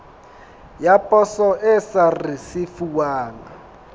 ya poso e sa risefuwang